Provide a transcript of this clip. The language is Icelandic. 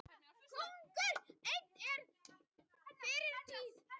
Konungur einn var á fyrri tíð.